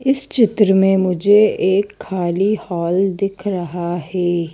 इस चित्र में मुझे एक खाली हॉल दिख रहा है।